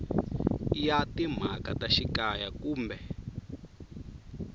ya timhaka ta xikaya kumbe